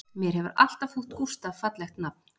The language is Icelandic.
Mér hefur alltaf þótt Gústaf fallegt nafn